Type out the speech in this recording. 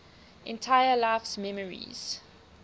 entire life's memories